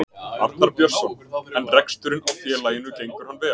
Arnar Björnsson: En reksturinn á félaginu gengur hann vel?